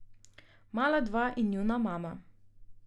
Mala dva in njuna mama.